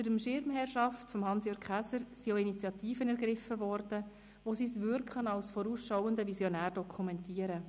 Unter der Schirmherrschaft von Hans-Jürg Käser wurden auch Initiativen ergriffen, die sein Wirken als vorausschauender Visionär dokumentieren.